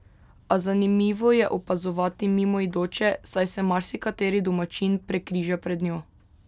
A zanimivo je opazovati mimoidoče, saj se marsikateri domačin prekriža pred njo.